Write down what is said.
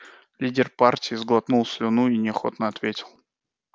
лидер партии сглотнул слюну и неохотно ответил